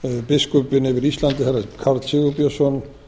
biskupinn yfir íslandi herra karl sigurbjörnsson